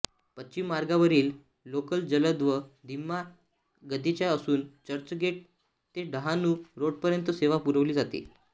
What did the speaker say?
पश्चिम मार्गावरील लोकल जलद व धीम्या गतीच्या असून चर्चगेट ते डहाणू रोडपर्यंत सेवा पुरवली जाते